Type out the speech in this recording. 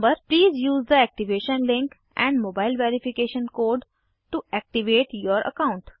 please use the activation link and mobile verification code to activate your account